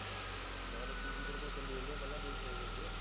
ਮਤਲਬ ਤੀਜੀ ਤੇਰੇ ਕੋਲੇ ਚਲੀ ਜਾਂਦੀ ਆ ਪਹਿਲਾਂ ਦੋ save ਹੋਗੀਆਂ